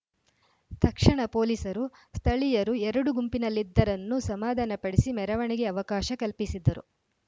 ತಕ್ಷಣ ಪೊಲೀಸರು ಸ್ಥಳೀಯರು ಎರಡೂ ಗುಂಪಿನಲ್ಲಿದ್ದರನ್ನು ಸಮಾಧಾನ ಪಡಿಸಿ ಮೆರವಣಿಗೆ ಅವಕಾಶ ಕಲ್ಪಿಸಿದ್ದರು